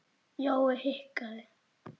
Jói hikaði.